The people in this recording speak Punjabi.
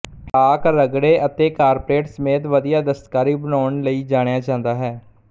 ਇਰਾਕ ਰਗੜੇ ਅਤੇ ਕਾਰਪੇਟ ਸਮੇਤ ਵਧੀਆ ਦਸਤਕਾਰੀ ਬਣਾਉਣ ਲਈ ਜਾਣਿਆ ਜਾਂਦਾ ਹੈ